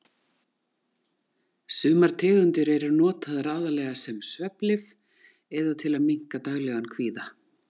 Sumar tegundir eru notaðar aðallega sem svefnlyf eða til að minnka daglegan kvíða.